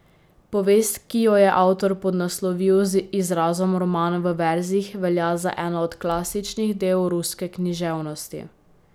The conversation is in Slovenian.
Povest, ki jo je avtor podnaslovil z izrazom roman v verzih, velja za eno od klasičnih del ruske književnosti.